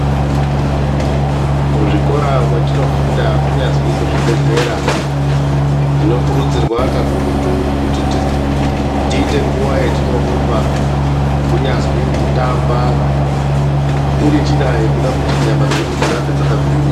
Muzvikora mwetinofunda kunyazwi kuzvibhehlera tinokurudzirwa kakurutu kuti tiite nguwa yetinorumba kunyazwi kutamba irinjira yekuti nyama dzedu dzirambe dzakagwinya